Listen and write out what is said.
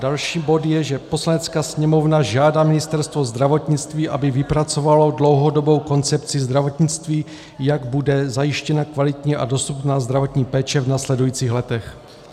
Další bod je, že Poslanecká sněmovna žádá Ministerstvo zdravotnictví, aby vypracovalo dlouhodobou koncepci zdravotnictví, jak bude zajištěna kvalitní a dostupná zdravotní péče v následujících letech.